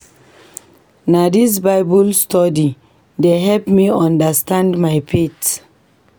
Na dis Bible study dey help me understand my faith.